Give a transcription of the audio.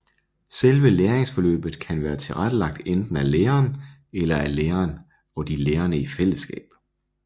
Selve læringsforløbet kan være tilrettelagt enten af læreren eller af læreren og de lærende i fællesskab